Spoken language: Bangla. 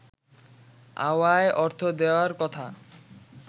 আওয়ায় অর্থ দেয়ার কথা